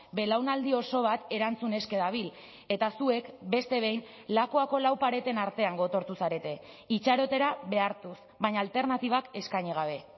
belaunaldi oso bat erantzun eske dabil eta zuek beste behin lakuako lau pareten artean gotortu zarete itxarotera behartuz baina alternatibak eskaini gabe